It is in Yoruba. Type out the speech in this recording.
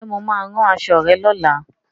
Ǹjẹ́ Mo máa rán aṣọ rẹ lola